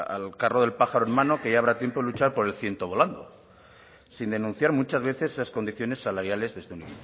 al carro de pájaro en mano que ya habrá tiempo de luchar por el ciento volando sin denunciar muchas veces las condiciones salariales desde un